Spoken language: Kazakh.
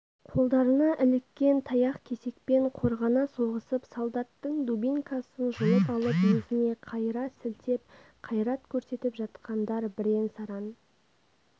қолдарына іліккен таяқ-кесекпен қорғана соғысып солдаттың дубинкасын жұлып алып өзіне қайыра сілтеп қайрат көрсетіп жатқандар бірен-саран